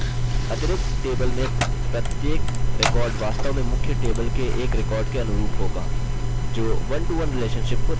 अतरिक्त table में प्रत्येक record वास्तव में मुख्य table के एक record के अनुरूप होगा